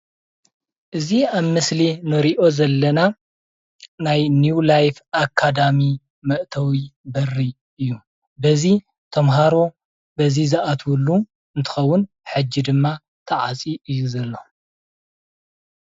እዚ ኣብ ምስሊ እንሪኦ ዘለና ናይ ኒው ላይፍ ኣካዳሚ መእተዊ በሪ እዩ፣ በዚ ተምሃሮ በዚ ዝኣትውሉ እንትከውን ሕጂ ድማ ተዓፅዩ እዩ ዘሎ፡፡